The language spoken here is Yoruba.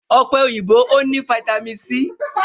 Ọ̀pẹ òyìnbó o ní vitami c.